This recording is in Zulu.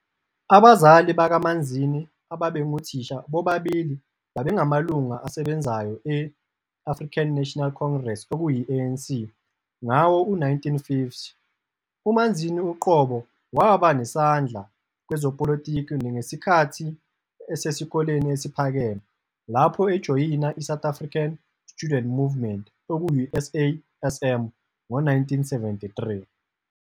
Abazali bakaManzini, ababengothisha, bobabili babengamalunga asebenzayo e-African National Congress, ANC, ngawo-1950. UManzini uqobo waba nesandla kwezepolitiki ngesikhathi esesikoleni esiphakeme, lapho ejoyina iSouth African Student Movement, SASM, ngo-1973.